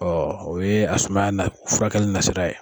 Ɔ o ye asumaya na furakɛli nasira ye.